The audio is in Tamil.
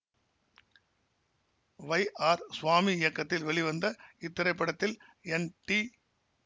வை ஆர் சுவாமி இயக்கத்தில் வெளிவந்த இத்திரைப்படத்தில் என் டி